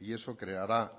y eso creará